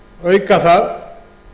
auka það